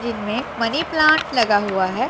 जिनमें money plant लगा हुआ है।